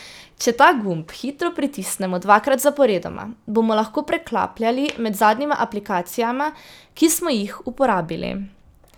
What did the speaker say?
Če ta gumb hitro pritisnemo dvakrat zaporedoma, bomo lahko preklapljali med zadnjima aplikacijama, ki smo jih uporabili.